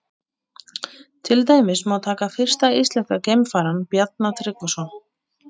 Til dæmis má taka fyrsta íslenska geimfarann, Bjarna Tryggvason.